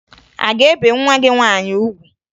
A ga-ebe nwa gị nwaanyị ugwu?